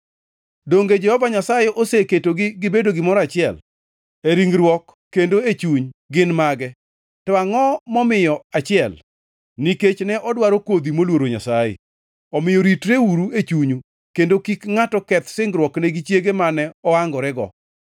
Donge Jehova Nyasaye oseketogi gibedo gimoro achiel? E ringruok kendo e chuny gin mage. To angʼo momiyo achiel? Nikech ne odwaro kodhi moluoro Nyasaye. Omiyo ritreuru e chunyu kendo kik ngʼato keth singruokne gi chiege mane oangorego.